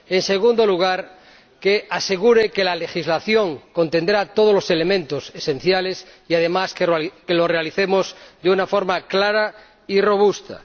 En segundo lugar, que asegure que la legislación contendrá todos los elementos esenciales y, además, que lo realicemos de una forma clara y robusta.